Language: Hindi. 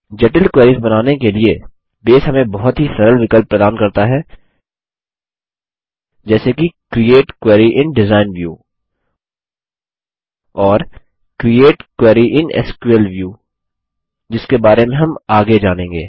जटिल क्वेरीस बनाने के लिए बेस हमें बहुत ही सरल विकल्प प्रदान करता है जैसे कि create query in design view और create query in SQL view जिसके बारे में हम आगे जानेंगे